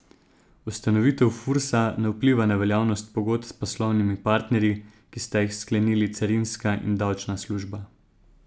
Ustanovitev Fursa ne vpliva na veljavnost pogodb s poslovnimi partnerji, ki sta jih sklenili carinska in davčna služba.